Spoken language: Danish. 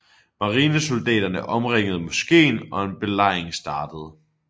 Marinesoldaterne omringede moskeen og en belejring startede